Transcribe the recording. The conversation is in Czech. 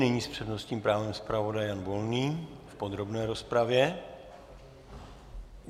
Nyní s přednostním právem zpravodaj Jan Volný v podrobné rozpravě.